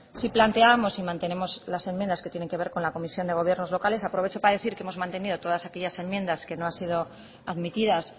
sí planteábamos y mantenemos las enmiendas que tienen que ver con la comisión de gobiernos locales aprovecho para decir que hemos mantenido todas aquellas enmiendas que no han sido admitidas